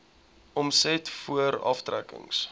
omset voor aftrekkings